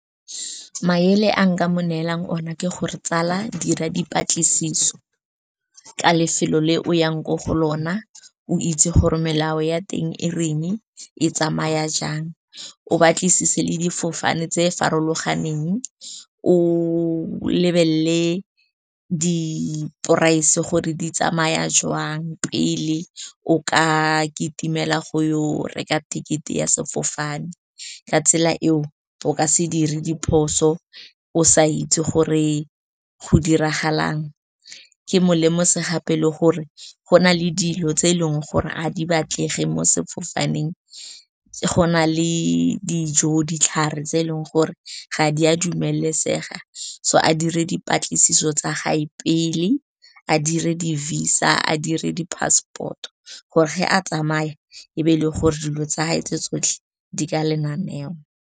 Maele a nka mo neelang ona ke gore, tsala dira dipatlisiso ka lefelo le o yang ko go lona, o itse gore melao ya teng e reng, e tsamaya jang. O batlisise le difofane tse farologaneng, o lebelele di-price gore di tsamaya jwang pele o ka kitimela go yo o reka tekete ya sefofane. Ka tsela eo o ka se dire diphoso o sa itse gore go diragalang. Ke molemose gape, o itse gore go na le dilo tse eleng gore a di batlege mo sefofaneng, go na le dijo, ditlhare tse eleng gore ga di a dumelesega. So a dire dipatlisiso tsa gae pele a dire di-VISA, a dire di-passport gore ge a tsamaya e be e le gore dilo tsa gage tse tsotlhe di ka lenaneo.